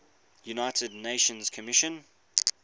united nations commission